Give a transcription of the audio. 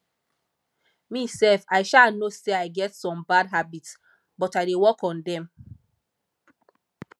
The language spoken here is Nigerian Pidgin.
me sef i um know say i get some bad habit but i dey work on dem